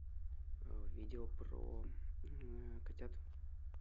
видео про котят